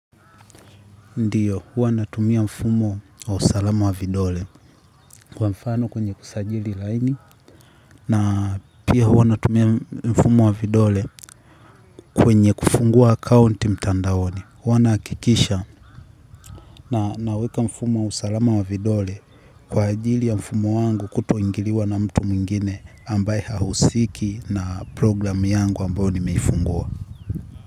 Ndio, huwa natumia mfumo wa usalama wa vidole. Kwa mfano, kwenye kusajili laini, na, pia, huwa natumia mfumo wa vidole. Kwenye kufungua akaunti mtandaoni. Huwa na akikisha na naweka mfumo wa usalama wa vidole, kwa ajili ya mfumo wangu, kutoingiliwa na mtu mwingine, ambaye, hahusiki, na program yangu ambao ni meifungua.